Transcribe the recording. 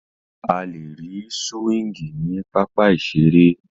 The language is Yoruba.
A lè rí súwíngì ní pápá ìseré